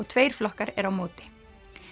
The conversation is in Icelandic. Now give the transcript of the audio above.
tveir flokkar eru á móti